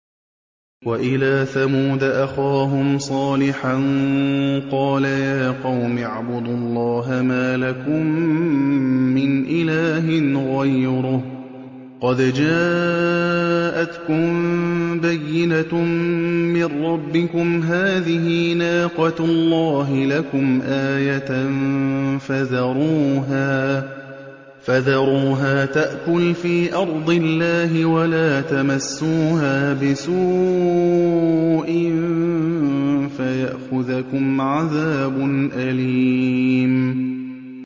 وَإِلَىٰ ثَمُودَ أَخَاهُمْ صَالِحًا ۗ قَالَ يَا قَوْمِ اعْبُدُوا اللَّهَ مَا لَكُم مِّنْ إِلَٰهٍ غَيْرُهُ ۖ قَدْ جَاءَتْكُم بَيِّنَةٌ مِّن رَّبِّكُمْ ۖ هَٰذِهِ نَاقَةُ اللَّهِ لَكُمْ آيَةً ۖ فَذَرُوهَا تَأْكُلْ فِي أَرْضِ اللَّهِ ۖ وَلَا تَمَسُّوهَا بِسُوءٍ فَيَأْخُذَكُمْ عَذَابٌ أَلِيمٌ